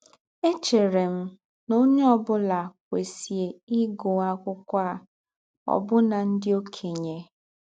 Échẹ̀rè m nà ǒnyẹ́ ọ̀ bụ́là kwesíè ígụ́ ákwụ́kwọ́ à — ọ́bụ́nà ndí́ ọ̀kènye.